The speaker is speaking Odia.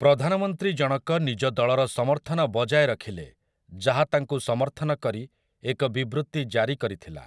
ପ୍ରଧାନମନ୍ତ୍ରୀଜଣକ ନିଜ ଦଳର ସମର୍ଥନ ବଜାୟ ରଖିଥିଲେ, ଯାହା ତାଙ୍କୁ ସମର୍ଥନ କରି ଏକ ବିବୃତି ଜାରି କରିଥିଲା ।